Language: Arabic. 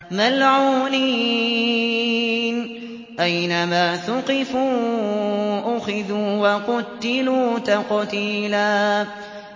مَّلْعُونِينَ ۖ أَيْنَمَا ثُقِفُوا أُخِذُوا وَقُتِّلُوا تَقْتِيلًا